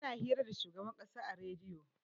ana hira da shugaban kasa a rediyo